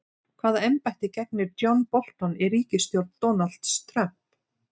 Hvaða embætti gegnir John Bolton í ríkisstjórn Donalds Trump?